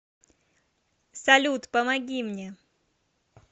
салют помоги мне